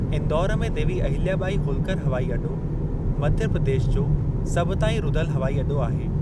इंदौर में देवी अहिल्याॿाई होल्कर हवाई अॾो मध्य प्रदेश जो सभु ताईं रुधलु हवाई अॾो आहे।